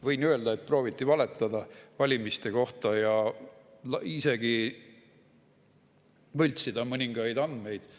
Võin öelda, et prooviti valetada valimiste kohta ja isegi võltsida mõningaid andmeid.